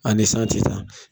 An ni san tɛ ta.